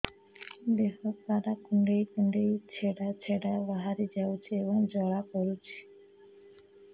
ଦେହ ସାରା କୁଣ୍ଡେଇ କୁଣ୍ଡେଇ ଛେଡ଼ା ଛେଡ଼ା ବାହାରି ଯାଉଛି ଏବଂ ଜ୍ୱାଳା କରୁଛି